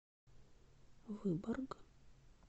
выборг